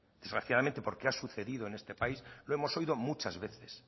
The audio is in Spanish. desgraciadamente porque ha sucedido en este país lo hemos oído muchas veces